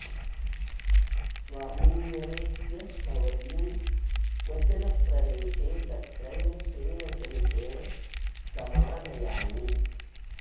स्वामिन्यवेत्य भवतीं क्वचन प्रदेशे तत्रैव केन च मिषेण समानयानि